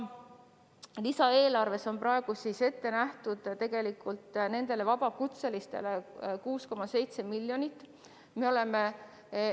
Lisaeelarves on nendele vabakutselistele ette nähtud 6,7 miljonit eurot.